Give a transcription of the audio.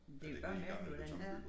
Men det jo bare mærkeligt hvordan her